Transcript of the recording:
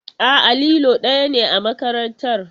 A'a, lilo ɗaya ne a makarantar.